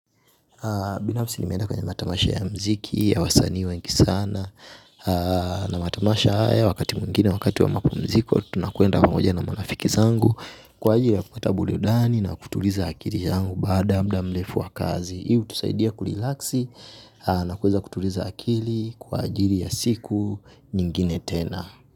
Binafsi nimeenda kwenye matamasha ya mziki ya wasani wengi sana. Na matamasha haya wakati mwingine wakati wa mapumziko. Tunakwenda moja na marafiki zangu. Kwa ajili ya kupata burudani na kutuliza akili yangu. Baada ya muda mrefu wa kazi hii hutusaidia kulilaksi na kuweza kutuliza akili. Kwa ajili ya siku nyingine tena.